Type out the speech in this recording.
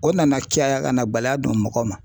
O nana caya ka na bala don mɔgɔ ma